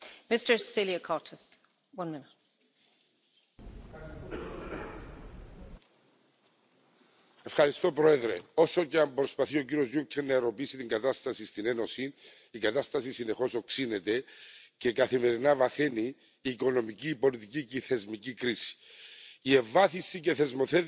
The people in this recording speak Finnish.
Arvoisa puhemies, olen komission puheenjohtajan kanssa samaa mieltä siitä, että Euroopan unionin on vahvistettava omaa globaalia rooliaan. Meillä on vaikutusvaltaa kansainvälisesti kauppapolitiikassa, kansainvälisten sopimusten, kehitysyhteistyön ja investointien kautta.